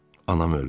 Anam öldü.